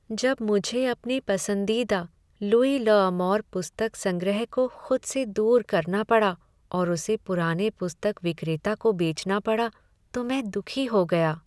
जब मुझे अपने पसंदीदा लुई ल 'अमौर पुस्तक संग्रह को खुद से दूर करना पड़ा और उसे पुराने पुस्तक विक्रेता को बेचना पड़ा, तो मैं दुखी हो गया।